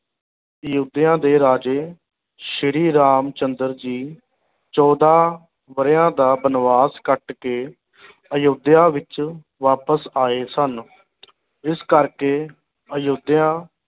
ਅਯੋਧਿਆ ਦੇ ਰਾਜੇ ਸ੍ਰੀ ਰਾਮ ਚੰਦਰ ਜੀ ਚੌਦਾਂ ਵਰਿਆਂ ਦਾ ਬਨਵਾਸ ਕੱਟ ਕੇ ਅਯੋਧਿਆ ਵਿੱਚ ਵਾਪਸ ਆਏ ਸਨ ਇਸ ਕਰਕੇ ਅਯੋਧਿਆ